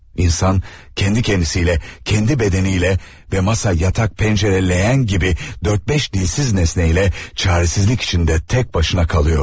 İnsan kendi kendisiyle, kendi bedeniyle ve masa, yatak, pencere, leğen gibi dört beş dilsiz nesneyle çaresizlik içinde tek başına kalıyordu.